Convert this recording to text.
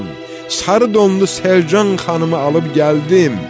Sarı donlu Selcan xanımı alıb gəldim.